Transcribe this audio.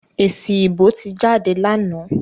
Èsì ìbò ti jáde lánàá.